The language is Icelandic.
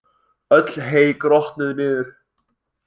Öll hey grotnuð niður.